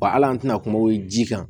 Wa hali an tɛna kuma ji kan